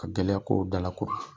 Ka gɛlɛya ko dalako,